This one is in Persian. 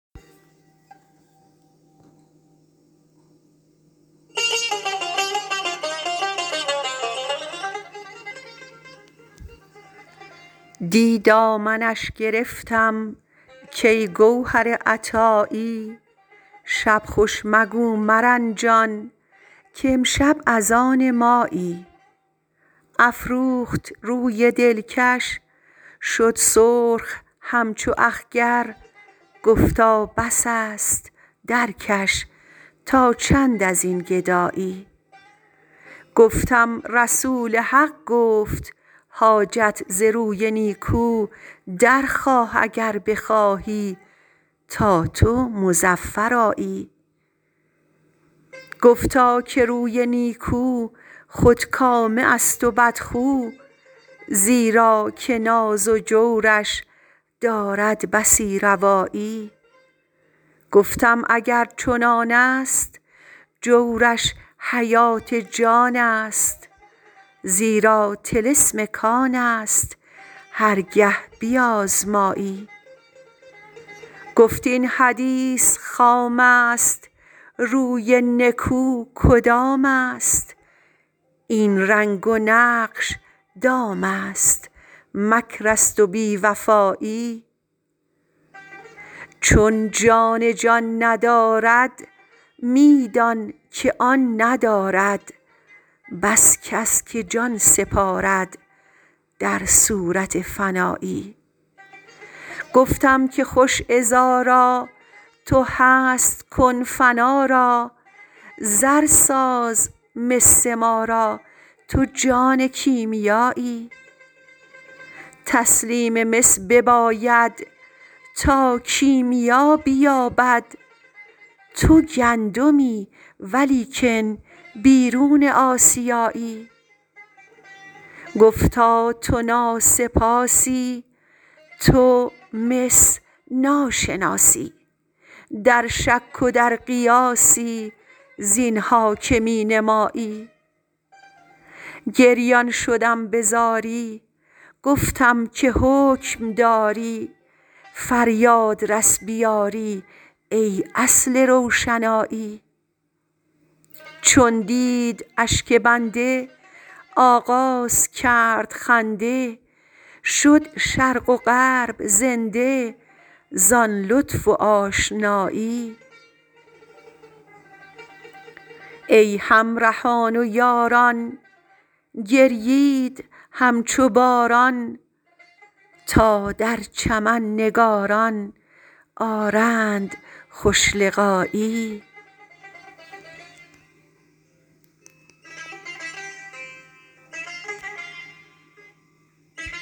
دی دامنش گرفتم کای گوهر عطایی شب خوش مگو مرنجان کامشب از آن مایی افروخت روی دلکش شد سرخ همچو اخگر گفتا بس است درکش تا چند از این گدایی گفتم رسول حق گفت حاجت ز روی نیکو درخواه اگر بخواهی تا تو مظفر آیی گفتا که روی نیکو خودکامه است و بدخو زیرا که ناز و جورش دارد بسی روایی گفتم اگر چنان است جورش حیات جان است زیرا طلسم کان است هر گه بیازمایی گفت این حدیث خام است روی نکو کدام است این رنگ و نقش دام است مکر است و بی وفایی چون جان جان ندارد می دانک آن ندارد بس کس که جان سپارد در صورت فنایی گفتم که خوش عذارا تو هست کن فنا را زر ساز مس ما را تو جان کیمیایی تسلیم مس بباید تا کیمیا بیابد تو گندمی ولیکن بیرون آسیایی گفتا تو ناسپاسی تو مس ناشناسی در شک و در قیاسی زین ها که می نمایی گریان شدم به زاری گفتم که حکم داری فریاد رس به یاری ای اصل روشنایی چون دید اشک بنده آغاز کرد خنده شد شرق و غرب زنده زان لطف آشنایی ای همرهان و یاران گریید همچو باران تا در چمن نگاران آرند خوش لقایی